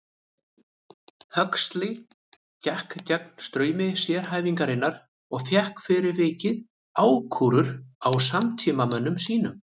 Huxley gekk gegn straumi sérhæfingarinnar og fékk fyrir vikið ákúrur frá samtímamönnum sínum.